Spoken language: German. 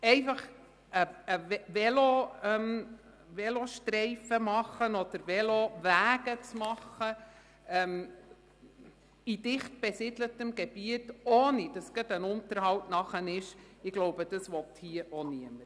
Einfach einen Velostreifen oder Velowege in einem dicht besiedelten Gebiet zu erstellen, ohne dass gerade ein Unterhalt nötig ist, will meines Erachtens hier auch niemand.